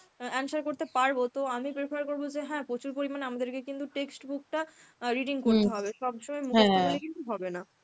answer করতে পারব. তো আমি prefer করব যে হ্যাঁ প্রচুর পরিমানে আমাদেরকে কিন্তু text book টা reading পড়তে হবে. সব সময় মুখস্ত করলে কিন্তু হবে না.